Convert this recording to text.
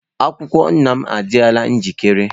Akwụkwọ nna m adịla njikere.